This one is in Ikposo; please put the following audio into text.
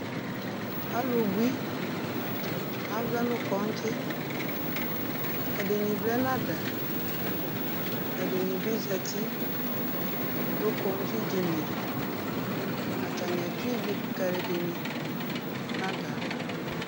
ɑlubui ɑvlɛ nu kɔdzi ɛdini vlɛ nɑdɑ ɛdinibi zɑti nu kondzidiniɛ ɑtɑnia tsuividu kɑluɛdini nɑdɑvɑ